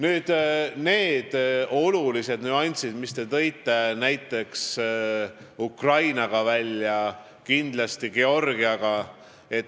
Te tõite välja olulised nüansid seoses Ukraina ja kindlasti Georgiaga.